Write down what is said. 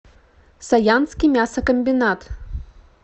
саянский мясокомбинат